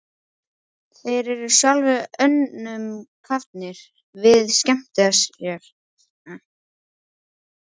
Þeir eru sjálfir önnum kafnir við að skemmta sér.